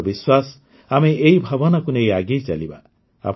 ମୋର ବିଶ୍ୱାସ ଆମେ ଏହି ଭାବନାକୁ ନେଇ ଆଗେଇ ଚାଲିବା